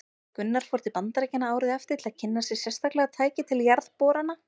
Gunnar fór til Bandaríkjanna árið eftir til að kynna sér sérstaklega tæki til jarðborana.